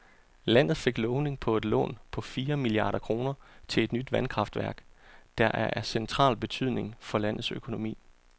Landet fik lovning på et lån på fire milliarder kroner til et nyt vandkraftværk, der er af central betydning for landets økonomi.